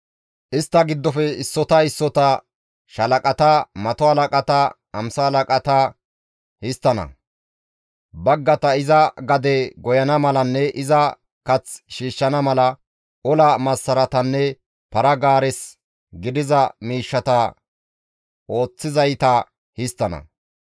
Istta giddofe issota issota shaalaqata, mato halaqata, hamsa halaqata histtana; baggata iza gade goyana malanne iza kath shiishshana mala, ola massaratanne para-gaares gidiza miishshata ooththizayta histtana.